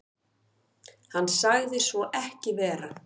Hann sagði svo ekki vera.